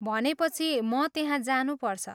भनेपछि म त्यहाँ जानुपर्छ।